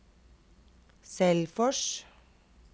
Selfors